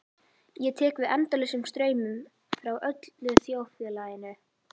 Ég tek við endalausum straumum frá öllu þjóðfélaginu.